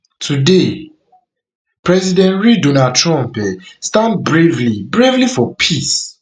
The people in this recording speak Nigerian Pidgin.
today president realdonaldtrump um stand bravely bravely for peace